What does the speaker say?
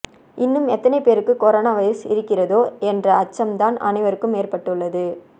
இன்னும் எத்தனை பேருக்கு கொரோனா வைரஸ் இருக்கிறதோ என்ற அச்சம்தான் அனைவருக்கும் ஏற்பட்டுள்ளது